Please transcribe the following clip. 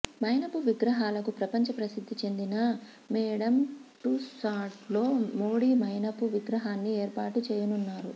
మైనపు విగ్రహాలకు ప్రపంచ ప్రసిద్ధి చెందిన మేడమ్ టుస్సాడ్స్లో మోడీ మైనపు విగ్రహాన్ని ఏర్పాటు చేయనున్నారు